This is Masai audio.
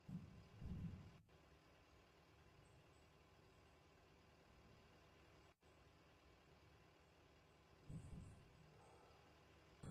ore embolea naa kenare naa eipurnyaki tenebo onkulupuok eton eitu euni